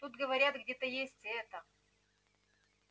тут говорят где-то есть это